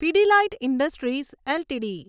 Pidilite industries LTD